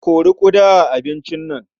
Kori ƙuda a abincin nan.